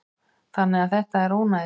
Þannig að þetta er ónæði.